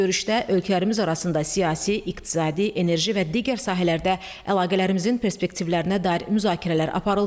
Görüşdə ölkələrimiz arasında siyasi, iqtisadi, enerji və digər sahələrdə əlaqələrimizin perspektivlərinə dair müzakirələr aparıldı.